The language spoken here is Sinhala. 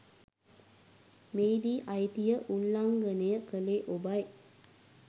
මෙහිදී අයිතිය උල්ලංඝනය කළේ ඔබයි.